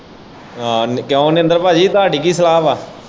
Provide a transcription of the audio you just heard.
ਆਹੋ ਕਿਉਂ ਨਰਿੰਦਰ ਭਾਜੀ ਤੁਹਾਂਡੀ ਕੀ ਸਲਾਹ ਵਾਂ।